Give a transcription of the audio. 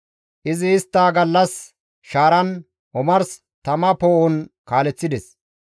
Izi istta gallas shaaran, omars tama poo7on kaaleththides.